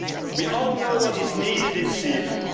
We all know what is needed in Syria.